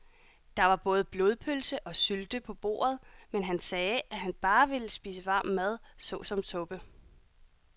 Der var både blodpølse og sylte på bordet, men han sagde, at han bare ville spise varm mad såsom suppe.